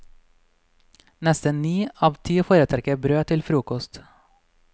Nesten ni av ti foretrekker brød til frokost.